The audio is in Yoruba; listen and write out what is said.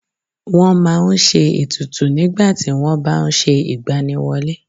Wọ́n má a n se ètùtù nígbàtí wọ́n bá n se ìgbaniwọlé